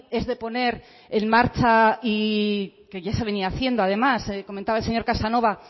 es de poner en marcha y que ya se venía haciendo además comentaba el señor casanova